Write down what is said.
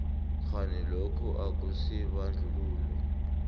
kghani lokhu akusibandlululo